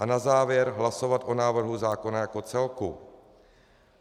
A na závěr hlasovat o návrhu zákona jako celku.